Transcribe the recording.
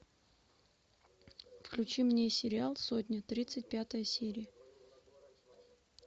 включи мне сериал сотня тридцать пятая серия